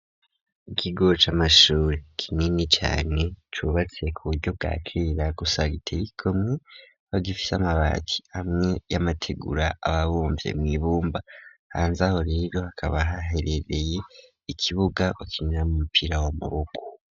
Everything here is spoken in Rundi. Ikigo ca mashuri kinini cane cubatse ku buryo bwa kerera gusa giteye igomwe kikaba gifise amabati amwe y'amategura aba abumvye mw'ibumba hanzaho rero hakaba haherereye ikibuga bakiniramwo umumupira w'amuboko.